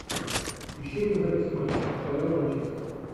ищи мне запись матча апл манчестер